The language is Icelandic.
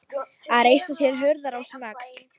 Að reisa sér hurðarás um öxl